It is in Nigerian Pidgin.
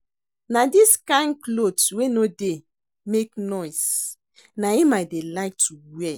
Na dis kin cloth wey no dey make noise na im I dey like to wear